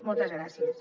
moltes gràcies